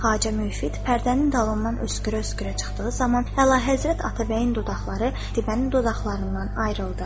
Xacə Müfiq pərdənin dalından öskürə-öskürə çıxdığı zaman, Əlahəzrət Atabəyin dodaqları Qətibənin dodaqlarından ayrıldı.